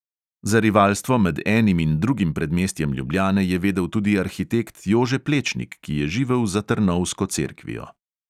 Za rivalstvo med enim in drugim predmestjem ljubljane je vedel tudi arhitekt jože plečnik, ki je živel za trnovsko cerkvijo.